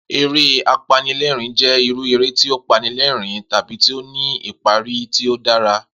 Eré apanilé̩rìn-ín jé̩ irú eré tí ó panilé̩rìn-ín tàbí tí ó ní ìparí tí ó dára